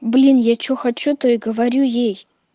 блин я что хочу то и говорю ей